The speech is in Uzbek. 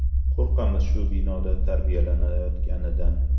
Qo‘rqamiz shu binoda tarbiyalanayotganidan.